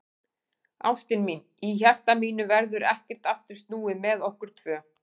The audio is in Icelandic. Ástin mín, í hjarta mínu verður ekkert aftur snúið með okkur tvö.